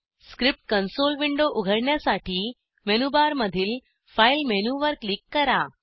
script console window उघडण्यासाठी menu बारमधील file मेनूवर क्लिक करा